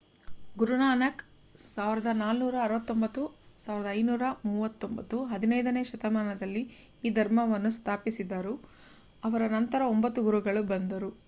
ಗುರುನಾನಕ್ 1469–1539 15 ನೇ ಶತಮಾನದಲ್ಲಿ ಈ ಧರ್ಮವನ್ನು ಸ್ಥಾಪಿಸಿದರು. ಅವರ ನಂತರ ಒಂಬತ್ತು ಗುರುಗಳು ಬಂದರು